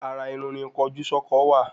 Ara Irun ni kojú sọkọ wa